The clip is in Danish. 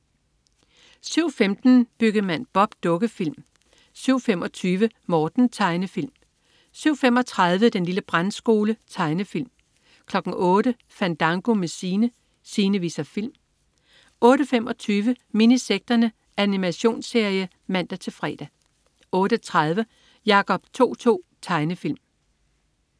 07.15 Byggemand Bob. Dukkefilm (man-fre) 07.25 Morten. Tegnefilm 07.35 Den lille brandskole. Tegnefilm 08.00 Fandango med Sine. Sine viser film 08.25 Minisekterne. Animationsserie (man-fre) 08.30 Jacob To-To. Tegnefilm